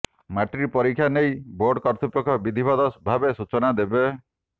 matric ପରୀକ୍ଷା ନେଇ board କର୍ତ୍ତୃପକ୍ଷ ବିଧିବଦ୍ଧ ଭାବେ ସୂଚନା ଦେବେ